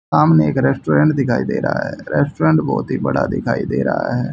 सामने एक रेस्टोरेंट दिखाई दे रहा है रेस्टोरेंट बहोत ही बड़ा दिखाई दे रहा है।